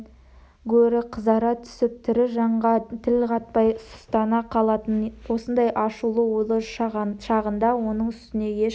гөрі қызара түсіп тірі жанға тіл қатпай сұстана қалатын осындай ашулы-ойлы шағында оның үстіне ешкім